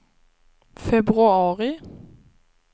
februari